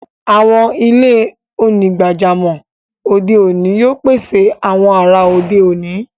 Awọn ilẹ̀-onígbàjàmọ́ ode oni yóò pèsè awọn àrà ode oni.